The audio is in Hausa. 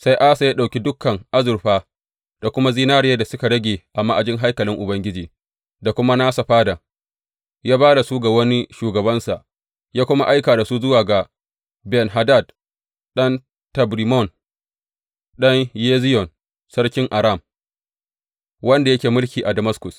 Sai Asa ya ɗauki dukan azurfa da kuma zinariyar da suka rage a ma’ajin haikalin Ubangiji da kuma nasa fadan, ya ba da su ga wani shugabansa, ya kuma aika da su zuwa ga Ben Hadad ɗan Tabrimmon, ɗan Heziyon, sarkin Aram, wanda yake mulki a Damaskus.